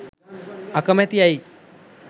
අකමැති ඇයි?